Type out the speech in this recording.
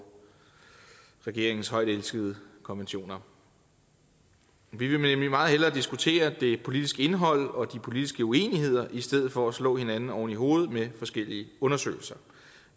regeringens højtelskede konventioner vi vil nemlig meget hellere diskutere det politiske indhold og de politiske uenigheder i stedet for at slå hinanden oven i hovedet med forskellige undersøgelser